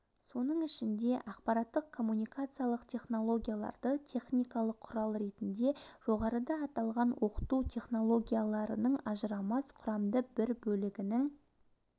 соның ішінде ақпараттық-коммуникациялық технологияларды техникалық құрал ретінде жоғарыда аталған оқыту технологияларының ажырамас құрамды бір бөлігінің